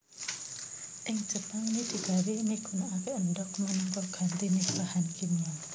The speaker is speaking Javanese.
Ing Jepang mi digawé migunakaké endhog minangka gantiné bahan kimia